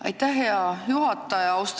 Aitäh, hea juhataja!